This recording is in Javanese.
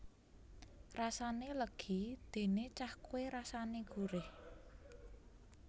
Rasane legi dene cahkwe rasane gurih